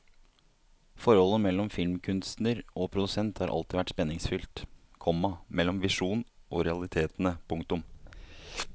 Forholdet mellom filmkunstner og produsent har alltid vært spenningsfylt, komma mellom visjonen og realitetene. punktum